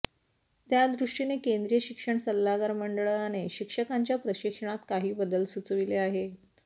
त्यादृष्टीने केंद्रीय शिक्षण सल्लागार मंडळाने शिक्षकांच्या प्रशिक्षणात काही बदल सुचविले आहेत